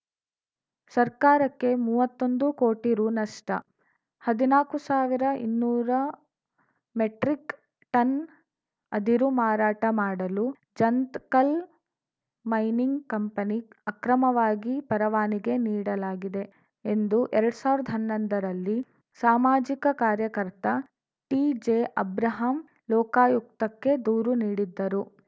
ಸರ್ಕಾರಕ್ಕೆ ಮೂವತ್ತೊಂದು ಕೋಟಿ ರು ನಷ್ಟ ಹದಿನಾಕು ಸಾವಿರಇನ್ನೂರ ಮೆಟ್ರಿಕ್‌ ಟನ್‌ ಅದಿರು ಮಾರಾಟ ಮಾಡಲು ಜಂತಕಲ್‌ ಮೈನಿಂಗ್‌ ಕಂಪನಿ ಅಕ್ರಮವಾಗಿ ಪರವಾನಿಗೆ ನೀಡಲಾಗಿದೆ ಎಂದು ಎರಡ್ ಸಾವಿರ್ದ ಹನ್ನೊಂದರ ರಲ್ಲಿ ಸಾಮಾಜಿಕ ಕಾರ್ಯಕರ್ತ ಟಿಜೆಅಬ್ರಾಹಂ ಲೋಕಾಯುಕ್ತಕ್ಕೆ ದೂರು ನೀಡಿದ್ದರು